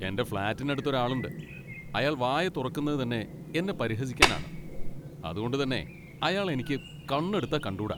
എൻ്റെ ഫ്ലാറ്റിനടുത്ത് ഒരാളുണ്ട്, അയാൾ വായ തുറക്കുന്നത് തന്നെ എന്നെ പരിഹസിക്കാനാണ്, അതുകൊണ്ട് തന്നെ അയാളെ എനിക്ക് കണ്ണെടുത്താൽ കണ്ടൂടാ.